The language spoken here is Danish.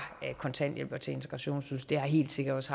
kontanthjælp til integrationsydelse helt sikkert også